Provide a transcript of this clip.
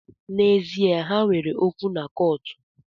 N’ezie, ha nwere okwu na kọọtụ